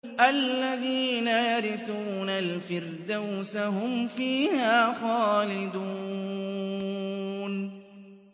الَّذِينَ يَرِثُونَ الْفِرْدَوْسَ هُمْ فِيهَا خَالِدُونَ